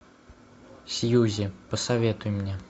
сьюзи посоветуй мне